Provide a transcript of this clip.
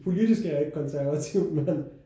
Politisk er jeg ikke konservativ men